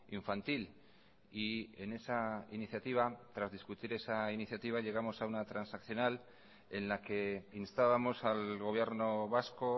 infantil y en esa iniciativa tras discutir esa iniciativa llegamos a una transaccional en la que instábamos al gobierno vasco